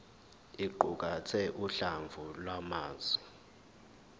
iqukathe uhlamvu lwamazwi